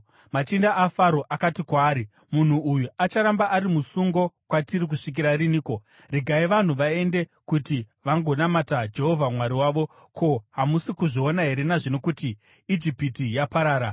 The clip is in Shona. Machinda aFaro akati kwaari, “Munhu uyu acharamba ari musungo kwatiri kusvikira riniko? Regai vanhu vaende, kuti vagonamata Jehovha Mwari wavo. Ko, hamusi kuzviona here nazvino kuti Ijipiti yaparara?”